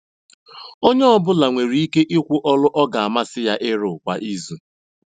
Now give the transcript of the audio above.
Onye ọ bụla nwere ike ikwu ọlụ ọ ga amasị ya ịrụ kwa izu.